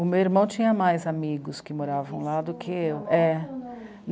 O meu irmão tinha mais amigos que moravam lá do que eu. É